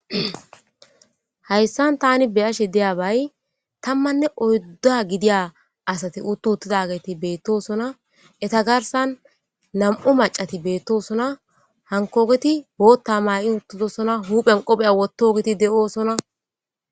Hayssan tani be ashe deya bay tammanne oydda gidiya asati uttu uttidageti beettosona eta garsan nam'u macati beettosona hankogeti bootta may'i uttidosona huphen qopheya wottogiti de'oosona.